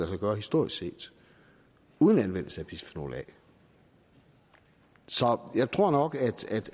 sig gøre historisk set uden anvendelse af bisfenol a så jeg tror nok